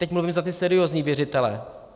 Teď mluvím za ty seriózní věřitele.